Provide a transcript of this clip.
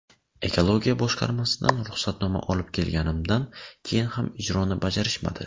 Ekologiya boshqarmasidan ruxsatnoma olib kelganimdan keyin ham ijroni bajarishmadi.